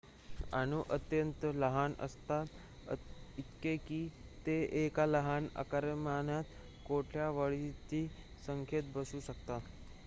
अणू अत्यंत लहान असतात इतके की ते एका लहान आकारमानात कोट्यवधीच्या संख्येत बसू शकतात